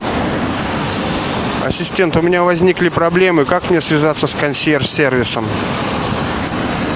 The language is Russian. ассистент у меня возникли проблемы как мне связаться с консьерж сервисом